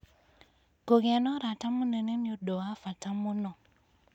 Kũgĩa na ũrata mũnene nĩ ũndũ wa bata mũno.